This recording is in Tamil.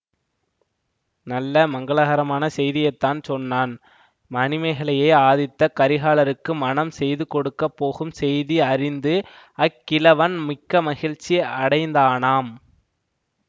நல்ல மங்களகரமான செய்தியைத்தான் சொன்னான் மணிமேகலையை ஆதித்த கரிகாலருக்கு மணம் செய்து கொடுக்க போகும் செய்தி அறிந்து அக்கிழவன் மிக்க மகிழ்ச்சி அடைந்தானாம்